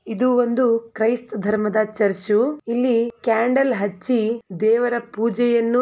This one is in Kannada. ಇದು ಒಂದು ಕ್ರೈಸ್ತ್ ಧರ್ಮದ ಚರ್ಚು ಇಲ್ಲಿ ಕ್ಯಾಂಡಲ್ ಹಚ್ಚಿ ದೇವರ ಪೂಜೆಯನ್ನು --